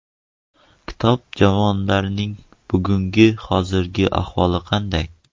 Kitob javonlarning bugungi hozirgi ahvoli qanday?